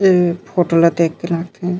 ये फोटो ल देख के --